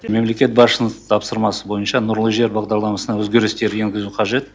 мемлекет басшысының тапсырмасы бойынша нұрлы жер бағдарламасына өзгерістер енгізу қажет